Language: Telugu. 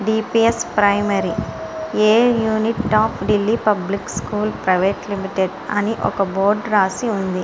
DPS primary a unit of Delhi public school private limited అని ఒక బోర్డు రాసి ఉంది.